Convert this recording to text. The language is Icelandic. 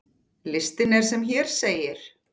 Listinn er sem hér segir